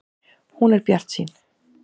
Hún er bjartsýn.